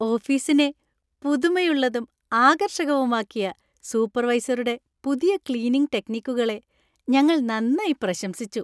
ഓഫീസിനെ പുതുമയുള്ളതും ആകർഷകവുമാക്കിയ സൂപ്പർവൈസറുടെ പുതിയ ക്ലീനിംഗ് ടെക്നിക്കുകളെ ഞങ്ങള്‍ നന്നായി പ്രശംസിച്ചു.